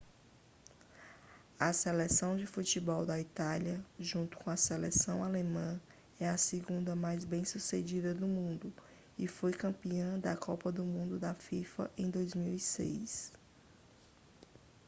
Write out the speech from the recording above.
a seleção de futebol da itália junto com a seleção alemã é a segunda mais bem-sucedida do mundo e foi campeã da copa do mundo da fifa em 2006